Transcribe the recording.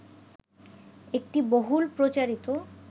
একটি বহুল প্রচারিত